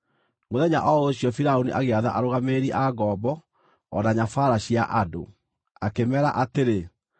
Mũthenya o ũcio Firaũni agĩatha arũgamĩrĩri a ngombo o na nyabaara cia andũ, akĩmeera atĩrĩ,